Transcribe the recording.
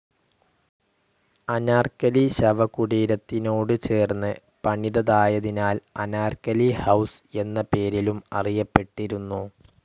അനാർക്കലി ശവകുടീരത്തിനോട് ചേർന്ന് പണിതതായതിനാൽ അനാർക്കലി ഹൌസ്‌ എന്ന പേരിലും അറിയപ്പെട്ടിരുന്നു.